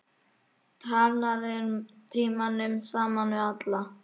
Talaðir tímunum saman við alla.